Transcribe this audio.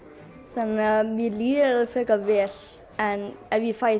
þannig mér líður alveg frekar vel en ef ég fæ